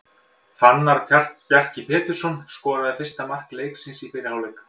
Fannar Bjarki Pétursson skoraði fyrsta mark leiksins í fyrri hálfleik.